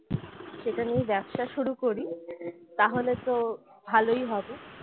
সেটা নিয়ে ব্যবসা শুরু করি তাহলে তো ভালোই হবে